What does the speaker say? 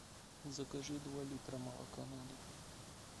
закажи два литра молока на дом